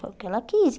Foi o que ela quis.